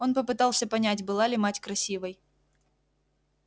он попытался понять была ли мать красивой